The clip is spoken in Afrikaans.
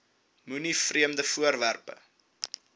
moenie vreemde voorwerpe